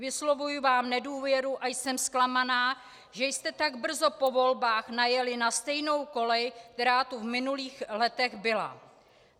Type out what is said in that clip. Vyslovuji vám nedůvěru a jsem zklamaná, že jste tak brzo po volbách najeli na stejnou kolej, která tu v minulých letech byla.